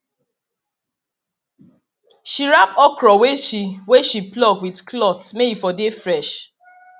she wrap okra wey she wey she pluck with cloth may e for dey fresh